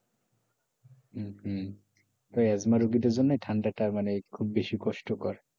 হম asthma রোগীদের জন্য ঠান্ডাটা মানে খুব বেশি কষ্টকর,